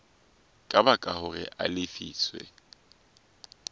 ka baka hore a lefiswe